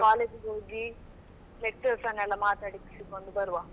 College ಗೆ ಹೋಗಿ lecturers ಅನ್ನೆಲ್ಲ ಮಾತಾಡಿಸಿಕೊಂಡು ಬರುವ.